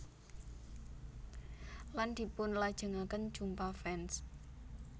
Lan dipunlajengaken jumpa fans